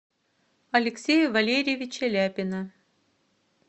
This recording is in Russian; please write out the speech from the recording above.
алексея валерьевича ляпина